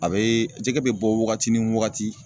A bɛ jɛgɛ bɛ bɔ waagati ni waagati.